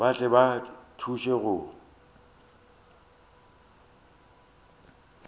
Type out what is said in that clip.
ba tle ba thuše go